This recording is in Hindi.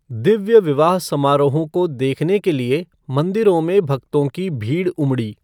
दिव्य विवाह समारोहों को देखने के लिए मंदिरों में भक्तों की भीड़ उमड़ी।